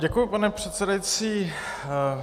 Děkuji, pane předsedající.